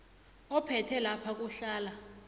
ophethe lapha kuhlala